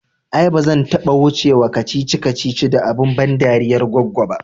Ai ba zan taɓa wuce wa kacici kacici da abun ban dariyar goggo ba